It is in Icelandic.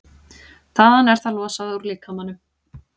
Þaðan er það losað úr líkamanum.